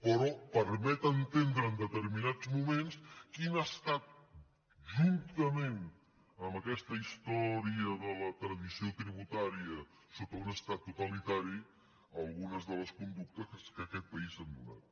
però permet entendre en deter·minats moments quines han estat juntament amb aquesta història de la tradició tributària sota un estat totalitari algunes de les conductes que en aquest país s’han donat